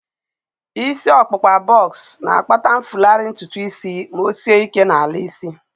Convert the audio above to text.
Isi ọkpụkpa bọks na-akpata mfulahu ntutu isi ma o sie ike n'ala isi